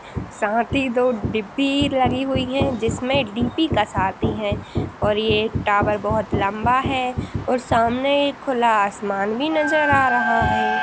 साथ ही दो डिब्बी लगी हुई हैं जिसमें डी.पी. कसाती हैं और ये टावर बोहोत लम्बा है और सामने खुला आसमान भी नज़र आ रहा है।